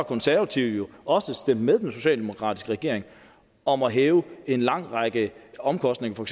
konservative jo også stemt med den socialdemokratiske regering om at hæve en lang række omkostninger for